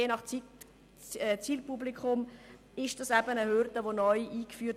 Je nach Zielpublikum wird hier eine zusätzliche Hürde eingeführt;